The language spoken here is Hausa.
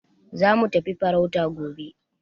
Za mu tafi farauta gobe.